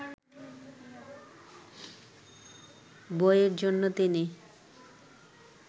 বইয়ের জন্য তিনি